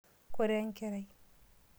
Koree enkerai?